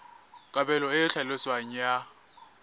kabelo e e tlhaloswang ya